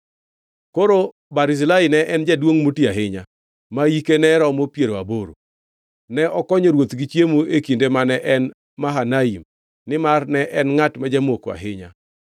Koro Barzilai ne en jaduongʼ moti ahinya, ma hike ne romo piero aboro. Ne okonyo ruoth gi chiemo e kinde mane en Mahanaim, nimar ne en ngʼat ma jamoko ahinya.